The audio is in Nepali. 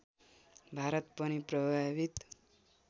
भारत पनि प्रभावित